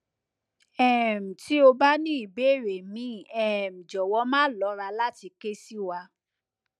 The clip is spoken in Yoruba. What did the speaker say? um ti o ba ni ibere mi um jowow ma lora lati ke si wa